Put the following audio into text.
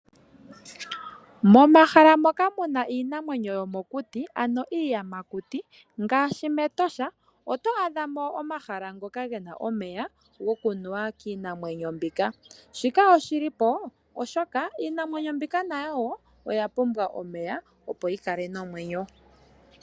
Momahala moka muna iinamwenyo yomokuti, ano iiyamakuti ngaashi, mEtosha, otwaadhamo omahala ngoka gena omeya goku nuwa kiinamwenyo mbika. Shika oshi lipo, oshoka iinamwenyo mbika woo oya pumbwa oku nwa opo yi kale nomwenyo.